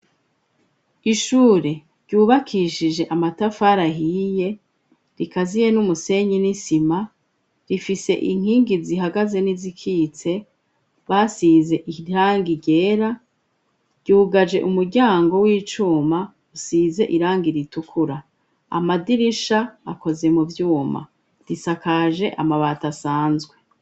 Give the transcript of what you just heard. Ishure ryubakishije amatafari ahiye, rikaziye n'umusenyi n'isima, rifise inkingi zihagaze n'izikitse basize irangi ryera, ryugaje umuryango w'icuma usize irangi ritukura, amadirisha akoze mu vyuma, risakaje amabati asanzwe.